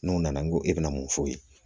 N'o nana n go e bɛna mun f'o ye